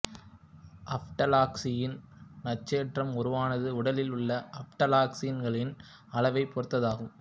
aflatoxin நச்சேற்றம் உருவாவது உடலில் உள்ள அஃப்ளாடாக்சின்களின் அளவைப் பொறுத்ததாகும்